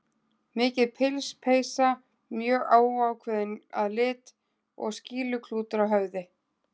Mikið pils, peysa mjög óákveðin að lit og skýluklútur á höfði.